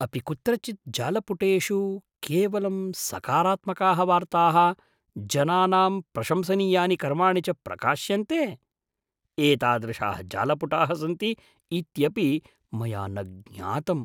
अपि कुत्रचित् जालपुटेषु केवलं सकारात्मकाः वार्ताः, जनानां प्रशंसनीयानि कर्माणि च प्रकाश्यन्ते? एतादृशाः जालपुटाः सन्ति इत्यपि मया न ज्ञातम् ।